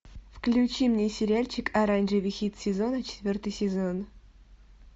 включи мне сериальчик оранжевый хит сезона четвертый сезон